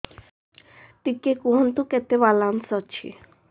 ଟିକେ କୁହନ୍ତୁ କେତେ ବାଲାନ୍ସ ଅଛି